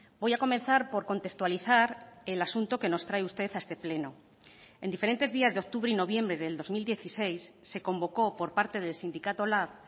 voy a comenzar por contextualizar el asunto que nos trae usted a este pleno en diferentes días de octubre y noviembre del dos mil dieciséis se convocó por parte del sindicato lab